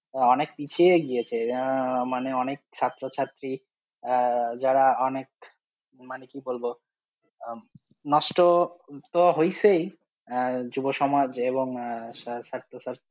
আহ অনেক পিছিয়ে গিয়েছে আহ মানে অনেক ছাত্রছাত্রী আহ যারা অনেক মানে কি বলবো আহ নষ্ট তো হয়েছেই আহ যুব সমাজে এবং আহ